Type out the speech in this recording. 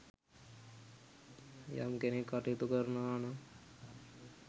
යම් කෙනෙක් කටයුතු කරනවානම්